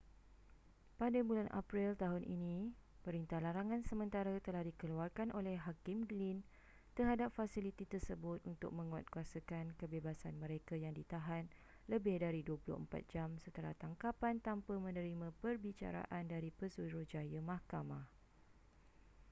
pada bulan april tahun ini perintah larangan sementara telah dikeluarkan oleh hakim glynn terhadap fasiliti tersebut untuk menguatkuasakan kebebasan mereka yang ditahan lebih dari 24 jam setelah tangkapan tanpa menerima perbicaraan dari pesuruhjaya mahkamah